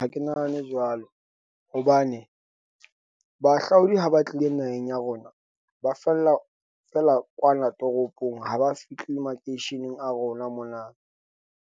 Ha ke nahane jwalo hobane bahahlaodi ha ba tlile naheng ya rona, ba fella fela kwana toropong. Ha ba fihli makeisheneng a rona mona.